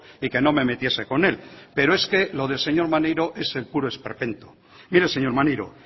y que no me metiese con él pero es que lo del señor maneiro es el puro esperpento mire señor maneiro